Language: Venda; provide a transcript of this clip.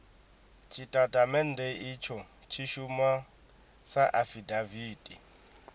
tshitatamennde itsho tshi shuma sa afidaviti